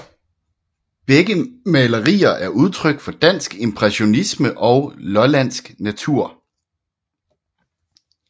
Begge malerier er udtryk for dansk impressionisme og lollandsk natur